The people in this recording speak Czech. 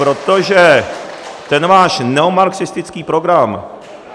Protože ten váš neomarxistický program...